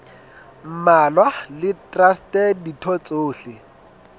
mmalwa le traste ditho tsohle